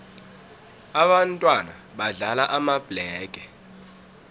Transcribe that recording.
ababntwana badlala amabhlege